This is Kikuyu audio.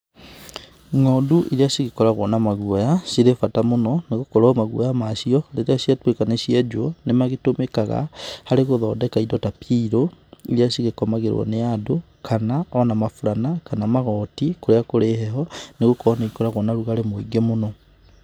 Ng'ondu iria cigĩkoragwo na maguoya cirĩ bata mũno nĩgũkorwo maguoya macio rĩrĩa ciatuĩka nĩ cienjwo nĩ magĩtũmĩkaga harĩ gũthondeka indo ta pillow iria cigĩkomagĩrwo nĩ andũ kana ona maburana kana magoti kũrĩa kũrĩ heho nĩ gũkorwo nĩ ikoragwo na ũrũgarĩ mũingĩ mũno.